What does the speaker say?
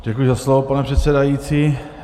Děkuji za slovo, pane předsedající.